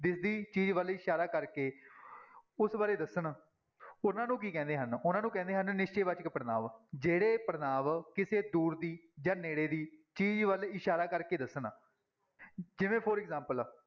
ਦਿਸਦੀ ਚੀਜ਼ ਵੱਲ ਇਸ਼ਾਰਾ ਕਰਕੇ ਉਸ ਬਾਰੇ ਦੱਸਣ ਉਹਨਾਂ ਨੂੰ ਕੀ ਕਹਿੰਦੇ ਹਨ, ਉਹਨਾਂ ਨੂੰ ਕਹਿੰਦੇ ਹਨ ਨਿਸ਼ਚੈ ਵਾਚਕ ਪੜ੍ਹਨਾਂਵ, ਜਿਹੜੇ ਪੜ੍ਹਨਾਂਵ ਕਿਸੇ ਦੂਰ ਦੀ ਜਾਂ ਨੇੜੇ ਦੀ ਚੀਜ਼ ਵੱਲ ਇਸ਼ਾਰਾ ਕਰਕੇ ਦੱਸਣ ਜਿਵੇਂ for example